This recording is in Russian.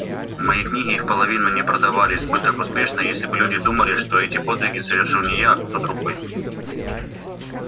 мои книги и вполовину не продавались бы так успешно если бы люди думали что эти подвиги совершил не я а кто-то другой